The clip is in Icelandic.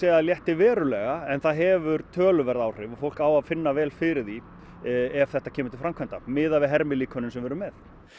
það létti verulega en það hefur töluverð áhrif og fólk á að finna vel fyrir því ef þetta kemur til framkvæmda miðað við hermilíkönin sem við erum með